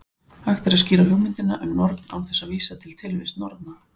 Hægt er að skýra hugmyndina um norn án þess að vísa á tilvist norna.